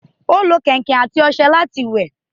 Ó lo kẹ̀ǹkẹ̀ àti ọṣẹ láti wẹ̀